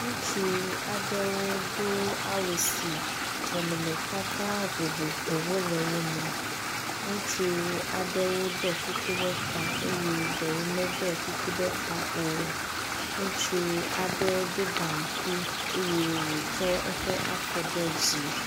Ŋutsu aɖewo do awu si nɔnɔmetata vovovowo le wo me. Ŋutsu aɖewo ɖɔ kuku ɖe ta eye ɖewo meɖɔ kuku ɖe ta o. Ŋutsu aɖe ɖo gaŋkui eye wotsɔ eƒe afɔ de dzi.